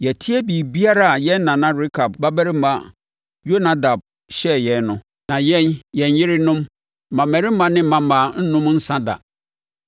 Yɛatie biribiara a yɛn nana Rekab babarima Yonadab hyɛɛ yɛn no. Na yɛn, yɛn yerenom, mmammarima ne mmammaa nnom nsã da